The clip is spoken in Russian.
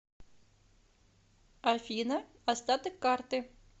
афина остаток карты